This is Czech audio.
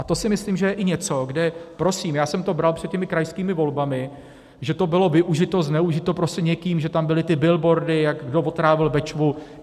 A to si myslím, že je i něco, kde prosím já jsem to bral před těmi krajskými volbami, že to bylo využito, zneužito, prostě někým, že tam byly ty billboardy, jak kdo otrávil Bečvu.